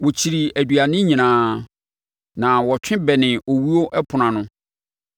Wɔkyirii aduane nyinaa na wɔtwe bɛnee owuo ɛpono ano.